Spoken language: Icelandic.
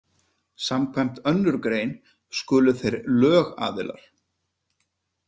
Samkvæmt önnur grein skulu þeir lögaðilar.